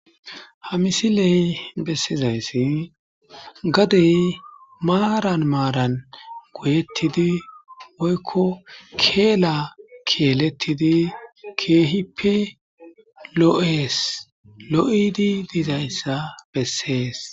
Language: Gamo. Ha misiley besizaysi gadey maaran maaran giyetid woyko keela keletid keehippe, lo'es, lo'id dizaysa beses